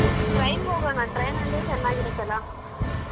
Train ಗ್ ಹೋಗೋಣ train ಅಂದ್ರೆ ಚನ್ನಾಗಿ ಇರುತ್ತಲ್ಲಾ?